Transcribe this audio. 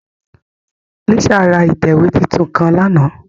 Lisa ra itẹwe titun kan làná